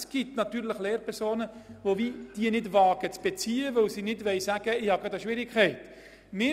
Es gibt natürlich Lehrpersonen, die diese nicht zu beziehen wagen, weil sie nicht sagen wollen, dass sie Schwierigkeiten haben.